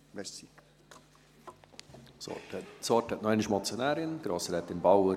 Das Wort hat noch einmal die Motionärin, Grossrätin Bauer.